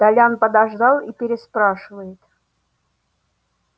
толян подождал и переспрашивает